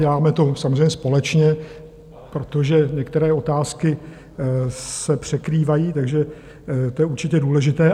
Děláme to samozřejmě společně, protože některé otázky se překrývají, takže to je určitě důležité.